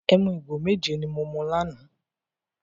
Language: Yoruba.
Ẹmu igo méje ni mo mu lánàá.